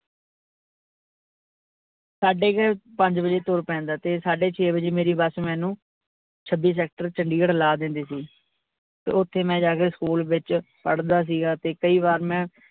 ਸਾਡੇ ਕੇ ਪੰਜ ਬਜੇ ਤੁਰ ਪੈਂਦਾ ਤੇ ਸਾਡੇ ਛੇ ਬਜੇ ਮੇਰੀ bus ਮੈਨੂੰ ਛੱਬੀ sector ਚੰਡੀਗੜ੍ਹ ਲਾਹ ਦਿੰਦੀ ਸੀ ਤੇ ਓਥੇ ਮੈਂ ਜਾਕੇ school ਵਿਚ ਪੜਦਾ ਸੀਗਾ ਤੇ ਕਈ ਬਾਰ ਮੈਂ।